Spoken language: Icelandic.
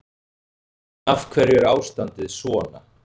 En af hverju er ástandið svona?